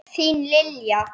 Þín, Lilja.